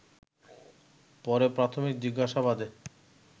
পরে প্রাথমিক জিজ্ঞাসাবাদে